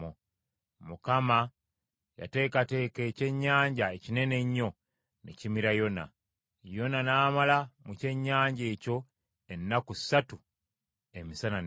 Mukama yateekateeka ekyennyanja ekinene ennyo ne kimira Yona; Yona n’amala mu kyennyanja ekyo ennaku ssatu emisana n’ekiro.